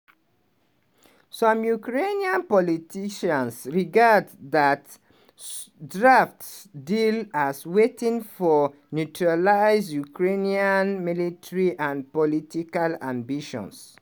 some ukrainian politicians regard dat s draft deal as wetin for neutralise ukraine military and political ambitions.